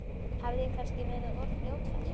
Hafði ég kannski verið of fljótfær?